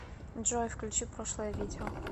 джой включи прошлое видео